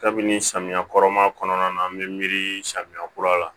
Kabini samiya kɔrɔ ma kɔnɔna na an bɛ miiri samiya kura la